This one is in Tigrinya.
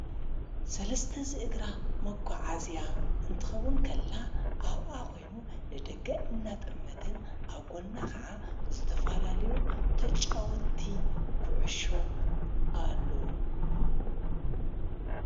ሠለስተ ዝእግራ መኳዓዝያ እንትኸውን ከላ ኣብኣ ኾይኑ ለደገ እናጠመትን ኣብ ጐና ኸዓ ዘተፋላልዩ ተጫወቲ ዂዕሾ ኣሎዉ።